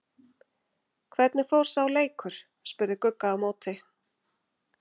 Hvernig fór sá leikur? spurði Gugga á móti.